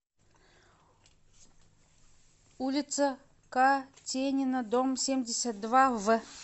улица катенина дом семьдесят два в